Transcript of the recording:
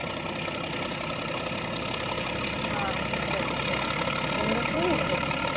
હા ઠંડી કેવી છે ત્યાં?